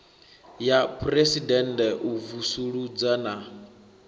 ya phuresidennde u vusuludza na